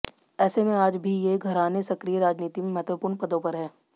ऐसे में आज भी ये घराने सक्रिय राजनीति में महत्वपूर्ण पदों पर हैं